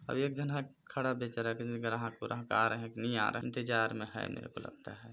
एक झन ह खड़ा बेचारा ग्राहक आ रहे है कि नहीं आ रहे इंतजार में है मेरे को लगता है।